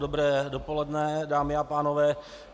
Dobré dopoledne, dámy a pánové.